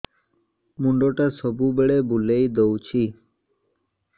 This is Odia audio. ମୁଣ୍ଡଟା ସବୁବେଳେ ବୁଲେଇ ଦଉଛି